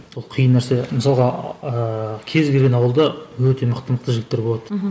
ол қиын нәрсе мысалға ыыы кез келген ауылда өте мықты мықты жігіттер болады мхм